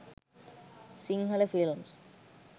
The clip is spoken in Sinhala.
sinhala films